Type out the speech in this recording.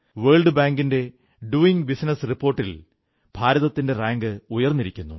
world ബാങ്കിന്റെ doing business റിപ്പോർട്ടിൽ ഭാരതത്തിന്റെ റാങ്ക് ഉയർന്നിരിക്കുന്നു